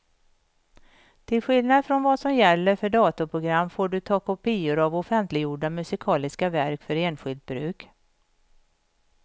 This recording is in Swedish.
Till skillnad från vad som gäller för datorprogram får du ta kopior av offentliggjorda musikaliska verk för enskilt bruk.